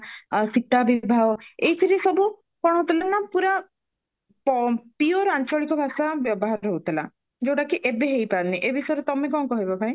ଆଉ ସୀତା ବିବାହ ଏଇଥିରେ ସବୁ କଣ ହଉଥିଲା ନାଁ ପୁରା ପଅ pure ଆଞ୍ଚଳିକ ଭାଷା ବ୍ୟବହାର ହଉଥିଲା ଯୋଉଟା କି ଏବେ ହେଇପାରୁନି ଏ ବିଷୟରେ ତମେ କଣ କହିବ ଭାଇ